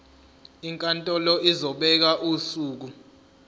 inkantolo izobeka usuku